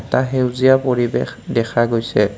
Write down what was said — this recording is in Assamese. এটা সেউজীয়া পৰিৱেশ দেখা গৈছে।